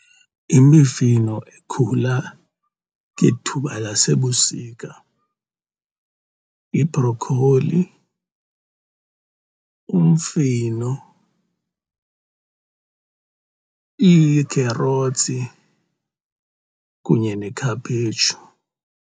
Imifino ekhula ngethuba lasebusika yibhrokholi, umfino, iikherothsi kunye nekhaphetshu.